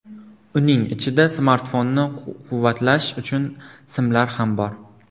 Uning ichida smartfonni quvvatlash uchun simlar ham bor.